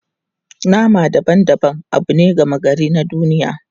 Nama daban-daban abu ne gama gari na duniya.